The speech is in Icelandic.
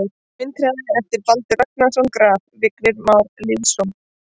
Vindhraði eftir Baldur Ragnarsson Graf: Vignir Már Lýðsson